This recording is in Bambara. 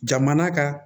Jamana ka